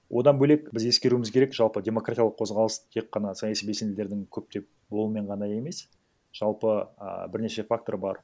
одан бөлек біз ескеруіміз керек жалпы демократиялық қозғалыс тек қана саяси белсенділердің көптеп болуымен ғана емес жалпы а бірнеше фактор бар